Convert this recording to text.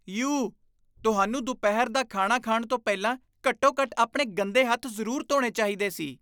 You! ਤੁਹਾਨੂੰ ਦੁਪਹਿਰ ਦਾ ਖਾਣਾ ਖਾਣ ਤੋਂ ਪਹਿਲਾਂ ਘੱਟੋ ਘੱਟ ਆਪਣੇ ਗੰਦੇ ਹੱਥ ਜ਼ਰੂਰ ਧੋਣੇ ਚਾਹੀਦੇ ਸੀ